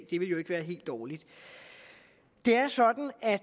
det ville jo ikke være helt dårligt det er sådan at